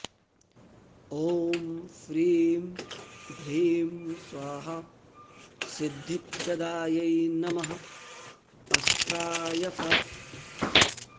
ॐ फ्रीं भ्रीं स्वाहा सिद्धिप्रदायै नमः अस्त्राय फट्